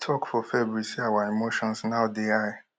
e tok for february say our emotions now dey high